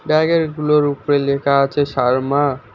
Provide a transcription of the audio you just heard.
গুলোর উপরে লেখা আছে শর্মা।